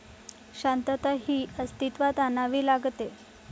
शांतता ही अस्तित्वात आणावी लागते.